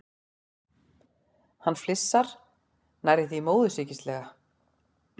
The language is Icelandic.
Hann flissar, nærri því móðursýkislega.